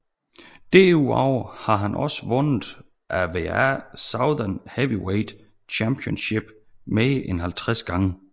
Derudover har han også vundet AWA Southern Heavyweight Championship mere end 50 gange